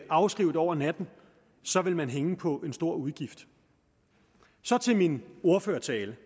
afskrive det over natten så vil man hænge på en stor udgift så til min ordførertale